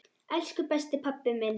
Elsku besti, pabbi minn.